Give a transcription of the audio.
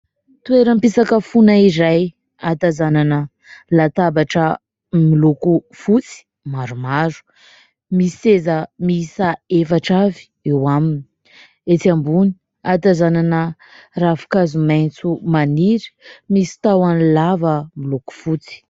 Toeram-pisakafoana iray ahatazanana latabatra miloko fotsy maromaro. Misy seza miisa efatra avy eo aminy. Etsy ambony ahatazanana ravinkazo maitso maniry misy tahony lava miloko fotsy.